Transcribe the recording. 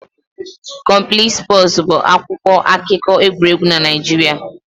Complete Sports' bụ akwụkwọ akụkọ egwuregwu na Naịjirịa